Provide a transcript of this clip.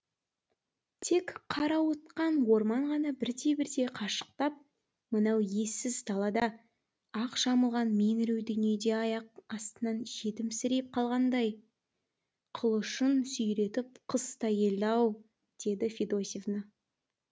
тек қарауытқан орман ғана бірте бірте қашықтап мынау ессіз далада ақ жамылған меңіреу дүниеде аяқ астынан жетімсіреп қалғандай қылышын сүйретіп қыс та келді ау деді федосевна